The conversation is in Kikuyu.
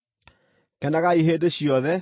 Kenagai hĩndĩ ciothe;